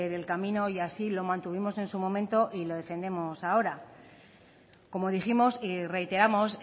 el camino y así lo mantuvimos en su momento y lo defendemos ahora como dijimos y reiteramos